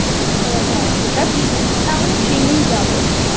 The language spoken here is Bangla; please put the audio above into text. হ্যাঁ সেটা ঠিক তাহলে ট্রেনেই যাবো।